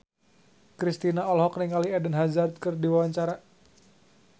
Kristina olohok ningali Eden Hazard keur diwawancara